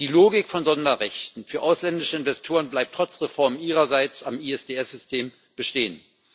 Die Logik von Sonderrechten für ausländische Investoren bleibt trotz Reformen Ihrerseits am ISDS System bestehen.